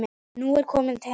Nú er hún komin heim.